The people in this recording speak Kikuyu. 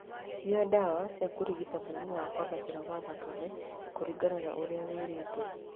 Nyua ndawa cia kũrigita mũrimũ wa kwambatĩra gwa thakame kũringana na ũrĩa wĩrĩtwo.